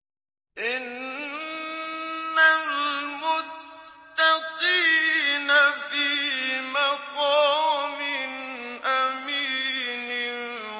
إِنَّ الْمُتَّقِينَ فِي مَقَامٍ أَمِينٍ